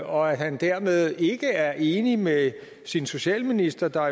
og at han dermed ikke er enig med sin socialminister der